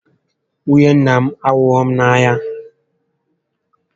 Nwunye nnà m ahughị m n'anya